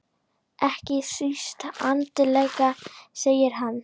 Ekki síst andlega segir hann.